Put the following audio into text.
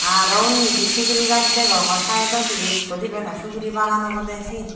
aro undi di subori gaj degongor sidedodi ekku dibey noi subori bagan obodey siyen.